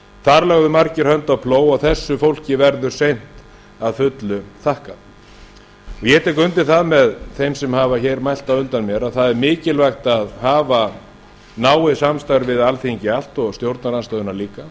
þar lögðu margir hönd á plóg og þessu fólki verður seint að fullu þakkað ég tek undir það með þeim sem hafa mælt á undan mér að það er mikilvægt að hafa náið samstarf við alþingi allt og stjórnarandstöðuna líka